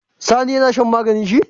Sani yAna shan maganin shi?